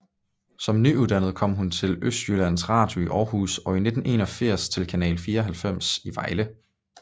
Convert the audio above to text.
Som nyuddannet kom hun til Østjyllands Radio i Århus og i 1981 til Kanal 94 i Vejle